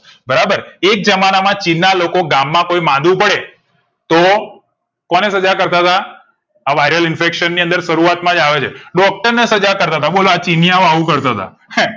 બરાબર એક જમાનામાં ચીનના લોકો ગામમાં કોઈ માદું પડે તો કોને સજા કરતાતા આ વાયરલ ઇન્ફેક્શન ની અંદર શરૂઆતમાં જ આવે છે doctor ને સજા કરતાતા બોલોઆ ચીનીયાઓ આવું કરતાતા